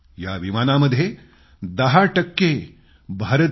या विमानामध्ये दहा टक्के भारतीय होते